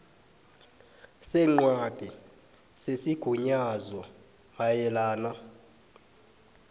sencwadi yesigunyazo mayelana